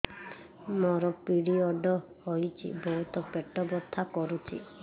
ମୋର ପିରିଅଡ଼ ହୋଇଛି ବହୁତ ପେଟ ବଥା କରୁଛି